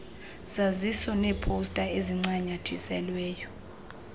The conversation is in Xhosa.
zaziso neeposta ezincanyathiselwe